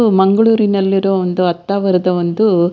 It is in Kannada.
ಹು ಮಂಗಳೂರಿನಲ್ಲಿ ಇರುವ ಒಂದು ಹತ್ತ ವರದ ಒಂದು--